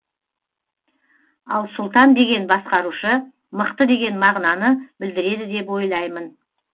ал сұлтан деген басқарушы мықты деген мағынаны білдіреді деп ойлаймын